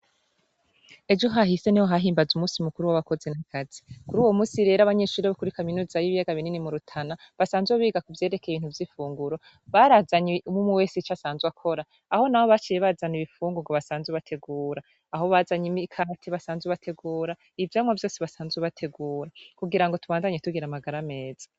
Ejo hahise niho hahimbazwa umunsi mukuru w'abakozi n'akazi, kuri uwo munsi rero abanyeshure bo kuri kaminuza y'ibiyaga binini mu Rutana, basanzwe biga ku vyerekeye ibintu vy'ifunguro, barazanye umwumwe wese ico asanzwe akora, aho nabo baciye bazana ibifungurwa basanzwe bategura, aho bazanye imikate basanzwe bategura, ivyamwa vyose basanzwe bategura. Kugira ngo tubandanye tugira amagara meza.